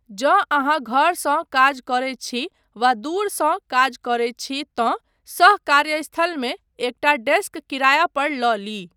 जँ अहाँ घरसँ काज करैत छी वा दूरसँ काज करैत छी, तँ सह कार्यस्थलमे एकटा डेस्क किराया पर लऽ ली।